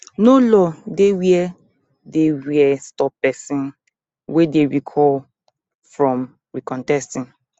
no law dey wey dey wey stop pesin wey dem recall from recontesting